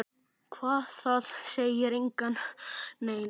Hvað, það segir enginn neitt.